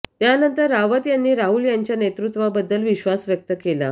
त्यानंतर रावत यांनी राहुल यांच्या नेतृत्वाबद्दल विश्वास व्यक्त केला